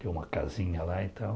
Tem uma casinha lá e tal.